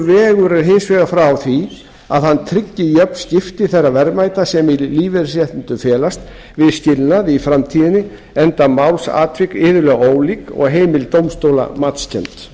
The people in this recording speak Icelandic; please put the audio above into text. vegur er hins vegar frá því að hann tryggi jöfn skipti þeirra verðmæta sem í lífeyrisréttindum felast við skilnaði í framtíðinni enda málsatvik iðulega ólík og heimild dómstóla matskennd